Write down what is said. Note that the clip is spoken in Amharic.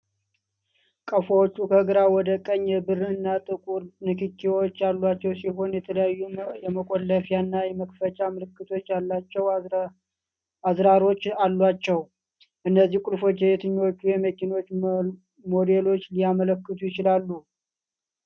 ቁልፎቹ፣ ከግራ ወደ ቀኝ፣ የብር እና ጥቁር ንክኪዎች ያሏቸው ሲሆን የተለያዩ የመቆለፍያና መክፈቻ ምልክቶች ያላቸው አዝራሮች አሏቸው። እነዚህ ቁልፎች የትኞቹ የመኪና ሞዴሎችን ሊያመለክቱ ይችላሉ?